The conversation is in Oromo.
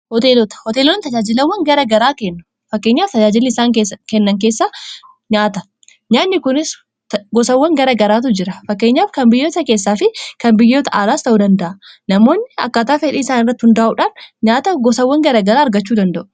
hoteelonni tajaajilawwan garagaraakenfakkeenyaaf tajaajii isaan kenna keessanaaanyaanni kunis gosawwan gara garaatu jira fakkeenyaaf kan biyyoota keessaa fi kan biyyoota aalaas ta'uu danda'a namoonni akkataa fedhii isaan irratti hundaa'uudhaan nyaata gosawwan garagaraa argachuu danda'u